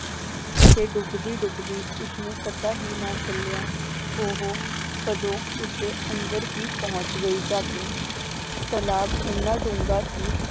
ਤੇ ਡੁਬਦੀ ਡੁਬਦੀ ਉਸਨੂੰ ਪਤਾ ਹੀ ਨਾ ਚੱਲਿਆ ਉਹ ਕਦੋਂ ਉਸਦੇ ਅੰਦਰ ਹੀ ਪਹੁੰਚ ਗਈ ਜਾ ਕੇ ਤਲਾਬ ਇੰਨਾ ਡੂੰਘਾ ਸੀ